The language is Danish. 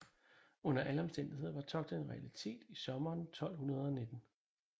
Under alle omstændigheder var togtet en realitet i sommeren 1219